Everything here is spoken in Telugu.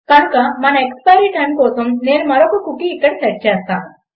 కనుక మన ఎక్స్పైరి టైమ్ కోసం నేను మరొక కుకీ ఇక్కడ సెట్ చేస్తాను